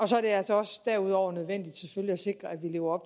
så er det altså også derudover selvfølgelig nødvendigt at sikre at vi lever